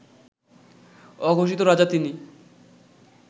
অঘোষিত রাজা তিনি